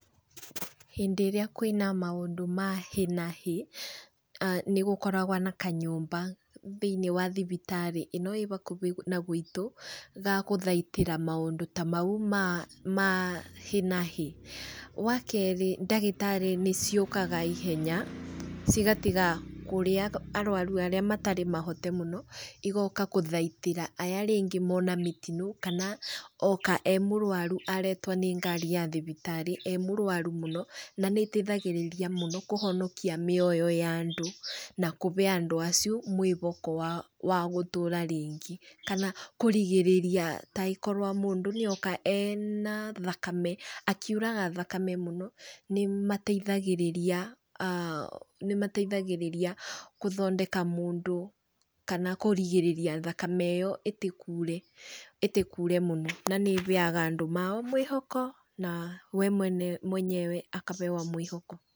Hĩndĩ ĩrĩa kwĩna maũndũ ma hĩ na hĩ, nĩgũkoragwo na kanyũmba thĩiniĩ wa thibitarĩ ĩno ĩ bakubĩ na gwitũ, ga gũthaitĩra maũndũ ta mau ma ma hi na hi. Wakerĩ ndagĩtarĩ nĩciũkaga ihenya cigatiga kũrĩa arwaru arĩa matarĩ mahote mũno, igoka gũthaitĩra aya rĩngĩ mona mĩtino kana oka e mũrwaru aretwo nĩ ngari ya thibitarĩ e mũrwaru mũno. Na, nĩiteithagĩrĩria mũno kũhonokia mĩoyo ya andũ na kũbe andũ acio mwĩboko wa wa gũtũra rĩngĩ kana kũrigĩrĩria taĩkorwo mũndũ nĩoka ena thakame akuiraga thakame mũno, nĩmateithagĩrĩria nĩmateithagĩrĩria gũthondeka mũndũ kana kũrigĩrĩria thakame ĩyo ĩtĩkure ĩtĩkure mũno na nĩĩbeaga andũ mao mwĩhoko, na we mwene mwenyewe akabewa mwĩhoko.